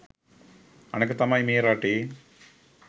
අනෙක තමයි මේ රටේ